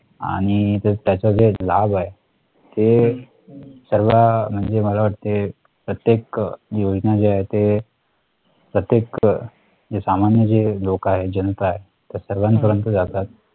आणि त्याचा जो एक लाभ आहे ते सर्व म्हणजे मला वाटते प्रत्येक योजना जे आहे ते प्रत्येक सामान्य जे लोक आहे जनता आहे त्या सर्वांपर्यंत जातात